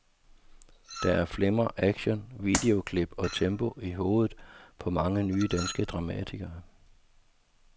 Der er flimmer, action, videoklip og tempo i hovedet på mange nye danske dramatikere.